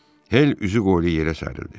Hel üzü qoylu yerə sərildi.